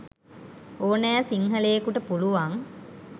ඕනෑ සින්හලයෙකුට පුලුවන්.